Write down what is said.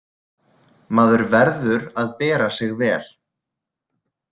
Maður verður að bera sig vel.